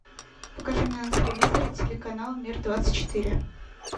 покажи мне на телевизоре телеканал мир двадцать четыре